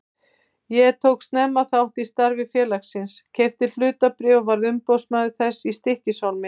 Ég tók snemma þátt í starfi félagsins, keypti hlutabréf og varð umboðsmaður þess í Stykkishólmi.